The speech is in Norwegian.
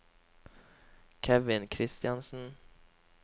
Kevin Kristiansen